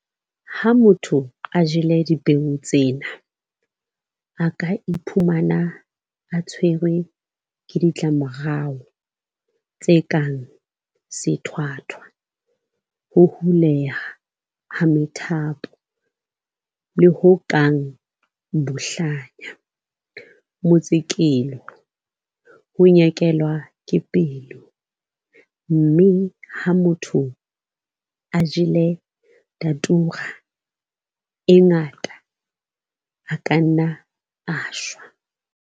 Ha motho a jele dipeo tsena, a ka iphumana a tshwerwe ke ditlamorao tse kang sethwathwa, ho huleha ha methapo, le ho kang bohlanya, motsekelo, ho nyekelwa ke pelo, mme ha motho a jele Datura e ngata, a ka nna a shwa.